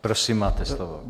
Prosím, máte slovo.